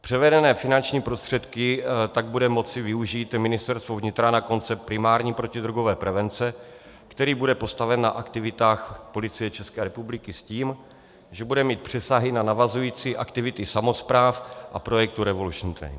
Převedené finanční prostředky tak bude moci využít Ministerstvo vnitra na koncept primární protidrogové prevence, který bude postaven na aktivitách Policie České republiky s tím, že bude mít přesahy na navazující aktivity samospráv a projektu Revolution train.